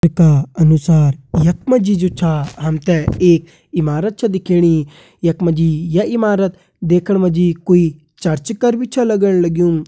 का अनुसार यख मा जी जु छा हम ते एक इमारत छ दिखेणी यख मा जी ये इमारत देखण मा जी कोई चर्च कर भी छ लगण लग्युं।